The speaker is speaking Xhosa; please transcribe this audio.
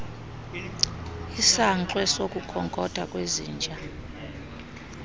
isankxwe sokukhonkotha kwezinja